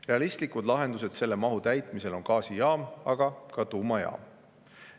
Realistlik lahendus selle mahu täitmisel on gaasijaam, aga ka tuumajaam.